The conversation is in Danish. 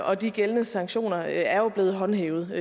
og de gældende sanktioner er jo blevet håndhævet